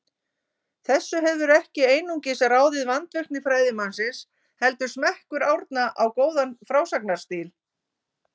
Þessu hefur ekki einungis ráðið vandvirkni fræðimannsins, heldur smekkur Árna á góðan frásagnarstíl.